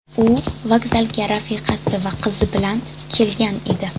U vokzalga rafiqasi va qizi bilan kelgan edi.